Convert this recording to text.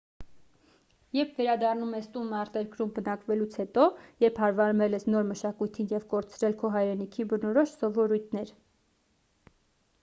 երբ վերադառնում ես տուն արտերկրում բնակվելուց հետո երբ հարմարվել ես նոր մշակույթին և կորցրել քո հայրենիքին բնորոշ սովորույթներ